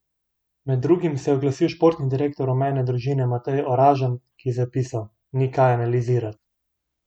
Med drugim se je oglasil športni direktor rumene družine Matej Oražem, ki je zapisal: "Ni kaj analizirat.